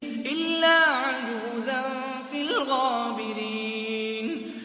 إِلَّا عَجُوزًا فِي الْغَابِرِينَ